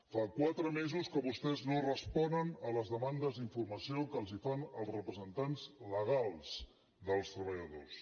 fa quatre mesos que vostès no responen a les demandes d’informació que els fan els representants legals dels treballadors